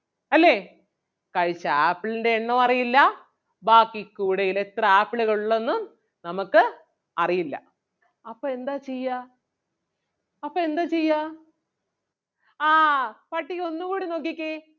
അല്ലേ കഴിച്ച ആപ്പിളിൻ്റെ എണ്ണവും അറിയില്ലാ ബാക്കി കൂടയിൽ എത്ര ആപ്പിളുകൾ ഉള്ളെന്നും നമുക്ക് അറിയില്ല അപ്പം എന്താ ചെയ്യാ അപ്പം എന്താ ചെയ്യാ ആഹ് പട്ടിക ഒന്നുകൂടി നോക്കിക്കേ